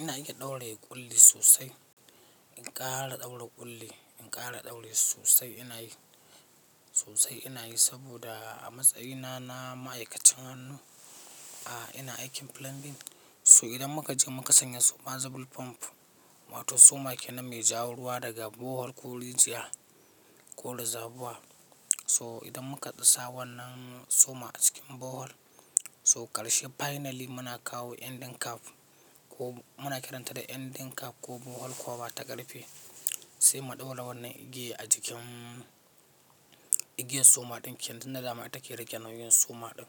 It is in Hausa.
Ina iya ɗaure ƙulli sosai. In ƙara ɗaura ƙulli, in ƙara ɗaure shi sosai ina yi sosai ina yi saboda a matsayina na ma'aikacin hannu, a ina aikin plumbing. So idan muka je muka sanya submersible pump, wato soma kenan mai ja ruwa daga borehole ko rijiya ko reservoir. So idan muka dasa wannan soma a cikin borehole, so ƙarshe finally muna kawo ending cap ko muna kiranta da ending cap ko borehole cover ta ƙarfe. Sai mu ɗaura wannan igiya a jikin igiyar soma ɗin ke nan da dama ita ke rage nauyin soma ɗin.